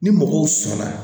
Ni mɔgɔw sɔnna